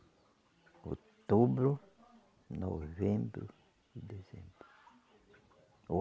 Outubro, novembro e dezembro.